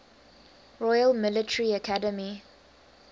royal military academy